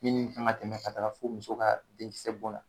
Minnu ka kan ka tɛmɛ ka taa fo muso ka denkisɛ bɔn na